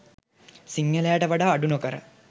සිංහලයාට වඩා අඩු නොකර